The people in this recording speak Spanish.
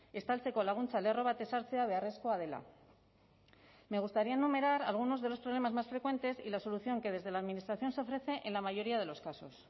estaltzeko laguntza lerro bat ezartzea beharrezkoa dela me gustaría enumerar algunos de los problemas más frecuentes y la solución que desde la administración se ofrece en la mayoría de los casos